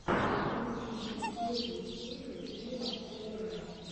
включи мне первую серию лила уэйна